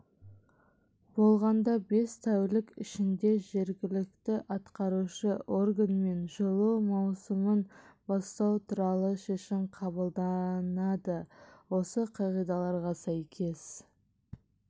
болғанда бес тәулік ішінде жергіліктіатқарушы органмен жылу маусымын бастау туралы шешім қабылданады осы қағидаларға сәйкес